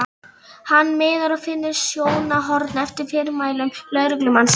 Hann miðar og finnur sjónarhorn eftir fyrirmælum lögreglumannsins.